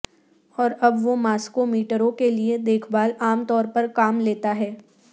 اور اب وہ ماسکو میٹرو کے لیے دیکھ بھال عام طور پر کام لیتا ہے